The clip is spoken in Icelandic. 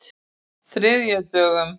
þriðjudögum